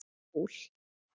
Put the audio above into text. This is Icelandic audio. Hjól?